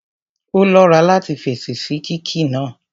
Ó lọ́ra láti fèsì sí kíkí náà